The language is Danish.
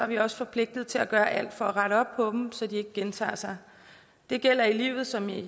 vi også forpligtet til at gøre alt for at rette op på dem så de ikke gentager sig det gælder i livet som i